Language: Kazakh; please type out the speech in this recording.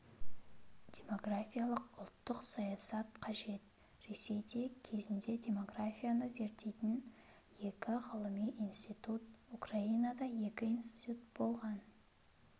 демографиялық ұлттық саясат қажет ресейде кезінде демографияны зерттейтін екі ғылыми институт украинада екі институт болған